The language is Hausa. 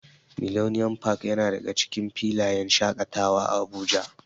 Millennium park yana daga cikin filayen shaƙatawa a Abuja.